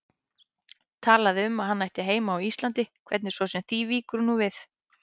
Talaði um að hann ætti heima á Íslandi, hvernig svo sem því víkur nú við.